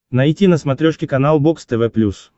найти на смотрешке канал бокс тв плюс